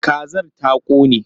Kazar ta ƙone?